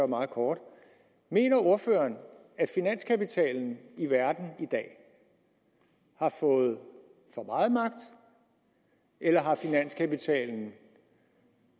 meget kort mener ordføreren at finanskapitalen i verden i dag har fået for meget magt eller at finanskapitalen